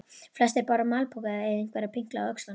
Flestir báru malpoka eða einhverja pinkla á öxlunum.